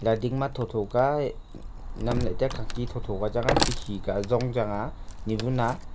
dading ma thotho ka nam lahley taiya khangti thotho ka changa khikhi ka zong changa niwun a.